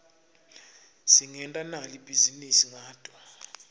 singenta nali bhizinisi ngato